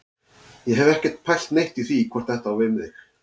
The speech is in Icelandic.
Ég hef ekkert pælt neitt í því hvort þetta á við mig.